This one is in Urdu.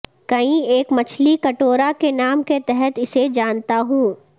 کئی ایک مچھلی کٹورا کے نام کے تحت اسے جانتا ہوں